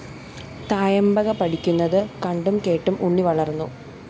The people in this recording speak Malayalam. തായമ്പക പഠിക്കുന്നത് കണ്ടും കേട്ടും ഉണ്ണി വളര്‍ന്നു